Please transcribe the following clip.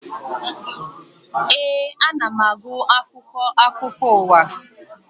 Éè, ana m agụ akwụkwọ akụkọ ụwa